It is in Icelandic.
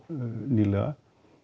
nýlega